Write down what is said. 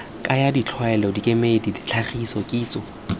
kaya ditlwaelo dikemedi ditlhagiso kitso